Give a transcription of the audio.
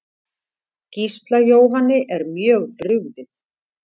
Gísla Jóhanni er mjög brugðið.